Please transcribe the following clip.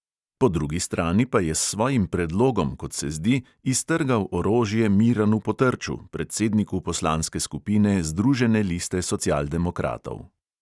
Po drugi strani pa je s svojim predlogom, kot se zdi, iztrgal orožje miranu potrču, predsedniku poslanske skupine združene liste socialdemokratov.